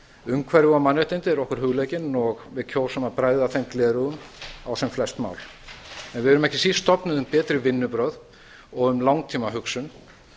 umhverfi og mannréttindi eru okkur hugleikin og við kjósum að bregða þeim gleraugum á sem flest mál en við erum ekki síst stofnuð um betri vinnubrögð og um langtímahugsun